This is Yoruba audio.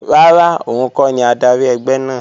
Rárá, òun kọ́ ni adarí ẹgbẹ́ náà